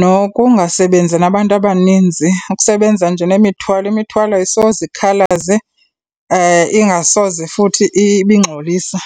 nokungasebenzi nabantu abaninzi. Ukusebenza nje nemithwalo, imithwalo ayisoze ikhalaze, ingasoze futhi ibe ingxolisa.